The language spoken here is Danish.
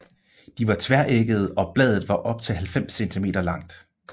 De var tveæggede og bladet var op til 90 cm langt